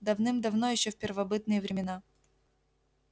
давным-давно ещё в первобытные времена